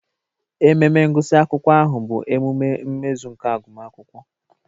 Ememe ngụsị akwụkwọ ahụ bụ emume mmezu nke agụmakwụkwọ.